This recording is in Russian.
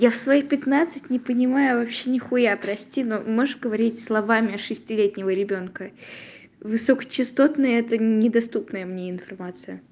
я своих пятнадцать не понимаю вообще нехуя прости но можешь говорить словами шестилетнего ребёнка высокочастотный это не доступная мне информация